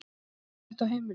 Er ósætti á heimilinu?